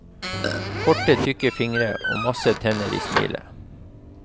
Korte tykke fingre og masse tenner i smilet.